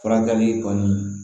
Furakɛli kɔni